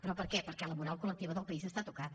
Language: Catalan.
però per què perquè la moral collectiva del país està tocada